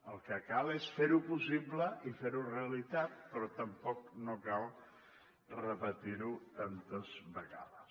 el que cal és fer ho possible i fer ho realitat però tampoc no cal repetir ho tantes vegades